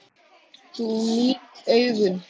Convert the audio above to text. Þú nýrð augun.